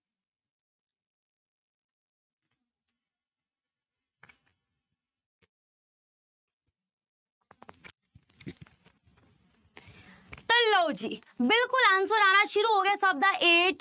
ਤਾਂ ਲਓ ਜੀ ਬਿਲਕੁਲ answer ਆਉਣਾ ਸ਼ੁਰੂ ਹੋ ਗਿਆ ਸਭ ਦਾ eight